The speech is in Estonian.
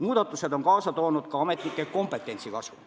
Muudatused on kaasa toonud ka ametnike kompetentsi kasvu.